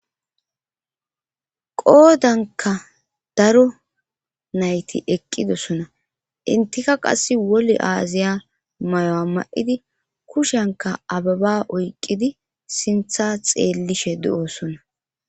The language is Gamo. qoodanka daro nayti eqqidosona intika qass wole aaziya mayoa ma'idi kushenka ababa oyqqidi sintha xeellishe de'osona